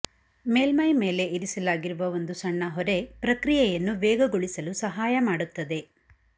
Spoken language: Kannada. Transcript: ಮೇಲ್ಮೈ ಮೇಲೆ ಇರಿಸಲಾಗಿರುವ ಒಂದು ಸಣ್ಣ ಹೊರೆ ಪ್ರಕ್ರಿಯೆಯನ್ನು ವೇಗಗೊಳಿಸಲು ಸಹಾಯ ಮಾಡುತ್ತದೆ